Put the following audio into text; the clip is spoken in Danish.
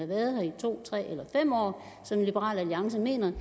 været her i to år tre år eller fem år som liberal alliance mener